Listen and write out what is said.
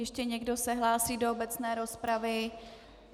Ještě někdo se hlásí do obecné rozpravy?